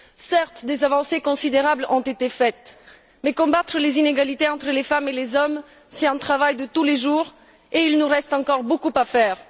Certes, des avancées considérables ont été faites, mais combattre les inégalités entre les femmes et les hommes est un travail de tous les jours et il nous reste encore beaucoup à faire.